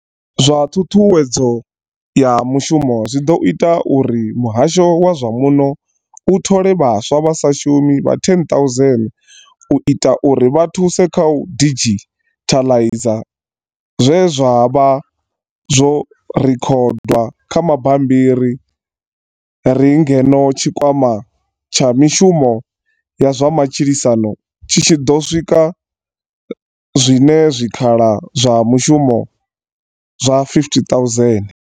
Zwa ṱhuṱhuwedzo ya mu shumo zwi ḓo ita uri muhasho wa zwa muno u thole vhaswa vha sa shumi vha 10 000 u itela uri vha thuse kha u didzhithaiza zwe zwa vha zwo rekhodwa kha mabambi ri ngeno tshikwama tsha mi shumo ya zwa matshilisano tshi tshi ḓo sika zwiṅwe zwi khala zwa mishumo zwa 50 000.